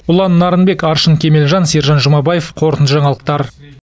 ұлан нарынбек аршын кемелжан сержан жұмабаев қорытынды жаңалықтар